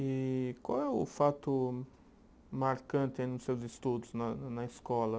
E qual é o fato marcante nos seus estudos na na escola?